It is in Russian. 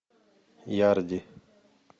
ярди